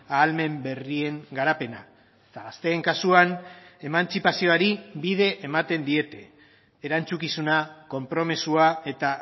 ahalmen berrien garapena eta gazteen kasuan emantzipazioari bide ematen diete erantzukizuna konpromisoa eta